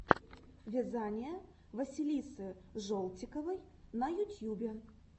вязание василисы жолтиковой на ютьюбе